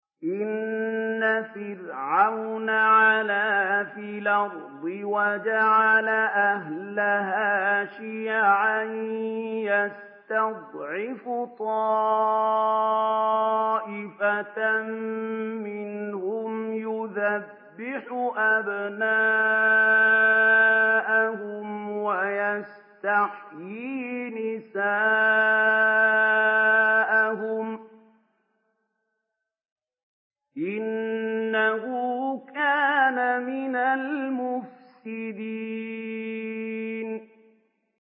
إِنَّ فِرْعَوْنَ عَلَا فِي الْأَرْضِ وَجَعَلَ أَهْلَهَا شِيَعًا يَسْتَضْعِفُ طَائِفَةً مِّنْهُمْ يُذَبِّحُ أَبْنَاءَهُمْ وَيَسْتَحْيِي نِسَاءَهُمْ ۚ إِنَّهُ كَانَ مِنَ الْمُفْسِدِينَ